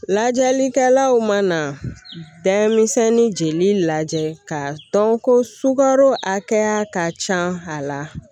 Lajɛlikɛlaw mana dɛmɛ jeli lajɛ k'a dɔn ko sukaro hakɛya ka ca a la